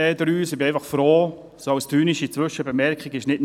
Um noch eine ironische Bemerkung anzufügen: